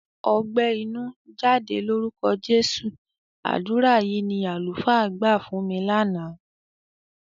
"Ọgbẹ́ inú, jáde lórúkọ Jésù!" Àdúrà yìí ni àlùfáà gbà fún mi lánàá.